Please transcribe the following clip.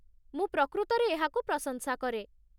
ମୁଁ ପ୍ରକୃତରେ ଏହାକୁ ପ୍ରଶଂସା କରେ।